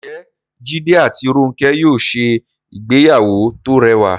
Ǹjẹ́ Jídé àti Rónkẹ́ yóò ṣe ìgbéyàwó tó rẹwà?